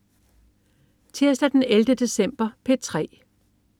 Tirsdag den 11. december - P3: